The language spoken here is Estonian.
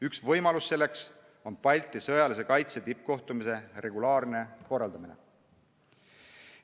Üks võimalus selleks on Balti sõjalise kaitse tippkohtumise regulaarne korraldamine.